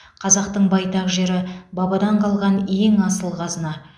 қазақтың байтақ жері бабадан қалған ең асыл қазына